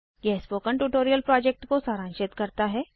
यह spoken tutorial project को सारांशित करता है